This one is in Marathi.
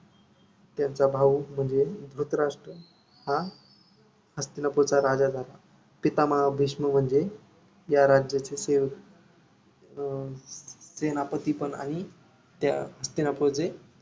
त्यांचा भाऊ म्हणजे धृतराष्ट्र हा हस्तिनापूरचा राजा झाला पितामहा भीष्म म्हणजे या राज्याचेच अं सेनापतीपण आणि त्या हस्तिनापूरचे